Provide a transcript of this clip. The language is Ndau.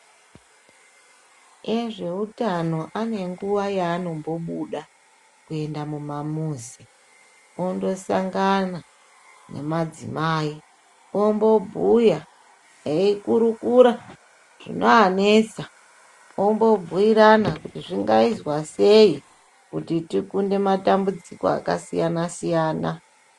Ezveutano ane nguwa yanombobuda kuenda mumamuzi ondosangana nemadzimai ombobhuya eikurukura zvinovanesa ombobhuirana kuti zvingaizwa sei kuti tikunde matambudziko akasiyana -siyana.